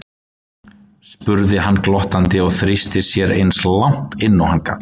spurði hann glottandi og þrýsti sér eins langt inn og hann gat.